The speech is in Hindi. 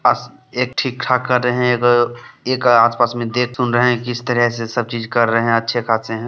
बस एक ठीक ठाक कर रहें हैं ये तो एक आसपास में देख सुन रहें हैं जिस तरह से सब चीज कर रहें हैं अच्छे खासे हैं।